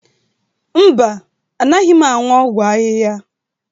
Mba, anaghị m aṅụ ọgwụ ahihia.